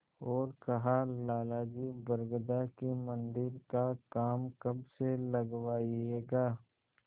और कहालाला जी बरगदा के मन्दिर का काम कब से लगवाइएगा